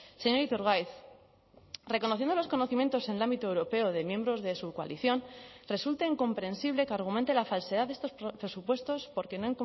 señor iturgaiz reconociendo los conocimientos en el ámbito europeo de miembros de su coalición resulta incomprensible que argumente la falsedad de estos presupuestos porque no